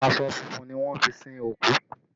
Aṣọ funfun ni wọ́n fi sin òkú